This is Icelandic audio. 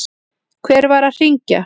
Hver var að hringja?